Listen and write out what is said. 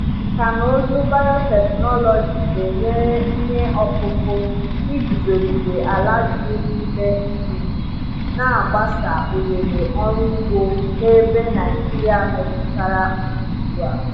Nkà na ụzụ biotechnology na-enyere ihe ọkụkụ iguzogide ala juru n’ime nnu, na-agbasa ohere ọrụ ugbo n’ebe Naijiria metụtara nsogbu a.